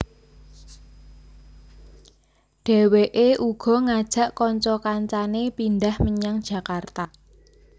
Dheweke uga ngajak kanca kancane pindhah menyang Jakarta